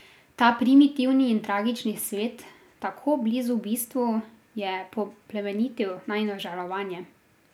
Ta primitivni in tragični svet, tako blizu bistvu, je poplemenitil najino žalovanje.